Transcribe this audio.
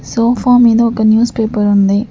Sofa మీద ఒక news paper ఉంది.